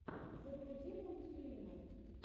загрузи мультфильмы